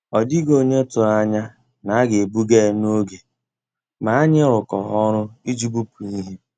Ọ́ dị́ghị́ ónyé tụ̀rụ̀ ànyá ná á gà-èbùgà yá n'ògé, mà ànyị́ rụ́kọ̀rọ́ ọ́rụ́ ìjì bùpú íhé.